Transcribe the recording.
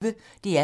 DR P1